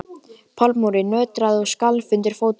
Pallurinn nötraði og skalf undir fótum hennar.